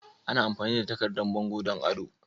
Ana amfani da takardan bango don ado.